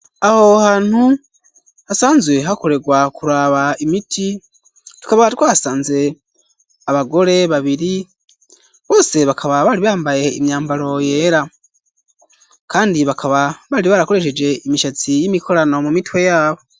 Aho hantu hasanzwe hakorerwa kuraba imiti tukaba twahasanze abagore babiri bose bakaba bari bambaye imyambaro yera kandi bakaba bari barakoresheje imishatsi y'imikorano mu mitwe yabo.